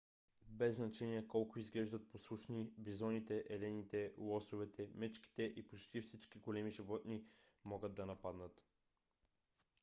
без значение колко изглеждат послушни бизоните елените лосовете мечките и почти всички големи животни могат да нападнат